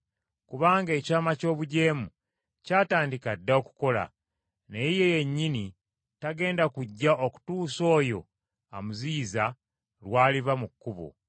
Kubanga ekyama ky’obujeemu kyatandika dda okukola, naye ye yennyini tagenda kujja okutuusa oyo amuziyiza lw’aliva mu kkubo.